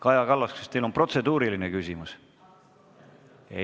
Kaja Kallas, kas teil on protseduuriline küsimus?